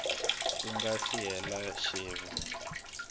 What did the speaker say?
ku nga si hela tsevu